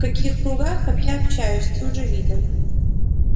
в каких кругах я общаюсь ты уже видел